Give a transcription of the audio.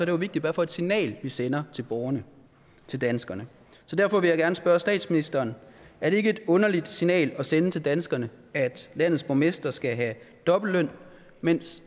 jo vigtigt hvad for et signal vi sender til borgerne til danskerne så derfor vil jeg gerne spørge statsministeren er det ikke et underligt signal at sende til danskerne at landets borgmestre skal have dobbeltløn mens